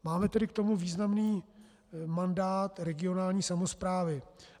Máme tedy k tomu významný mandát regionální samosprávy.